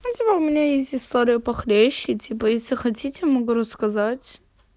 я тебя умоляю у меня есть история похлеще типа если хотите могу рассказать